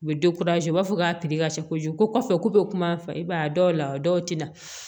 U bɛ u b'a fɔ k'a ka cɛ kojugu ko kɔfɛ ko be kuma fɔ i b'a dɔw la dɔw te na